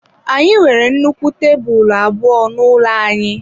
Anyị nwere nnukwu tebụl abụọ n'ụlọ anyị.